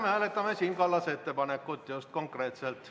Me hääletame Siim Kallase ettepanekut, just, konkreetselt.